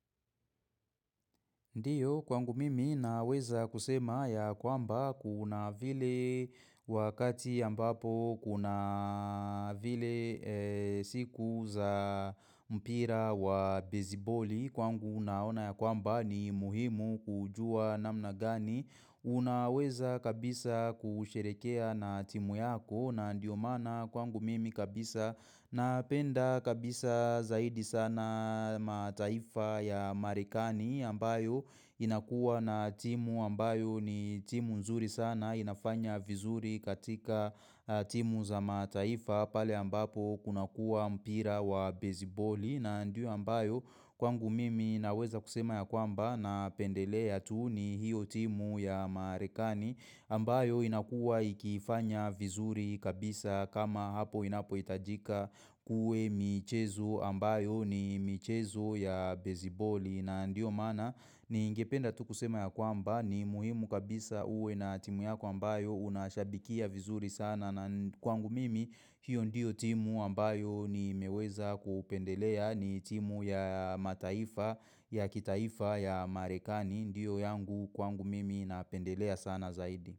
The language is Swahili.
Ndio kwangu mimi naweza kusema ya kwamba kuna vile wakati ambapo kuna vile siku za mpira wa beziboli kwangu naona ya kwamba ni muhimu kujua na mnagani. Unaweza kabisa kusherekea na timu yako na ndiyo mana kwangu mimi kabisa napenda kabisa zaidi sana mataifa ya marekani ambayo inakua na timu ambayo ni timu nzuri sana inafanya vizuri katika timu za mataifa pale ambapo kuna kuwa mpira wa beziboli na ndio ambayo kwangu mimi naweza kusema ya kwamba na pendelea tu ni hiyo timu ya marekani ambayo inakua ikifanya vizuri kabisa kama hapo inapo itajika uwe michezo ambayo ni michezo ya beziboli na ndio maana ningependa tu kusema ya kwamba ni muhimu kabisa uwe na timu yako ambayo Unashabikia vizuri sana na kwangu mimi hiyo ndiyo timu ambayo ni meweza kupendelea ni timu ya mataifa ya kitaifa ya marekani ndio yangu kwangu mimi napendelea sana zaidi.